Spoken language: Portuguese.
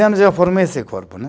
anos eu formei esse corpo, né?